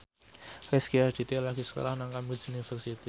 Rezky Aditya lagi sekolah nang Cambridge University